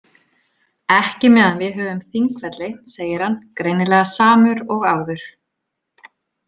Ekki meðan við höfum Þingvelli, segir hann, greinilega samur og áður.